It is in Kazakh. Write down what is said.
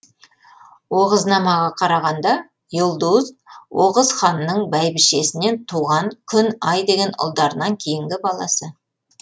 оғызнамаға қарағанда йулдуз оғыз ханның бәйбішесінен туған күн ай деген ұлдарынан кейінгі баласы